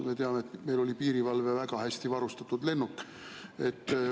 Me teame, et meil oli piirivalvel väga hästi varustatud lennuk.